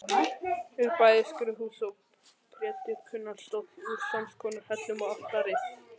Er bæði skrúðhús og prédikunarstóll úr samskonar hellum og altarið.